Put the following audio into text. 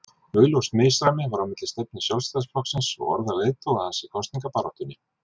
Augljóst misræmi var á milli stefnu Sjálfstæðisflokksins og orða leiðtoga hans í kosningabaráttunni.